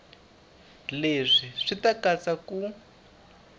leswi swi ta katsa ku